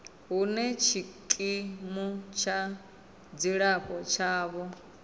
hune tshikimu tsha dzilafho tshavho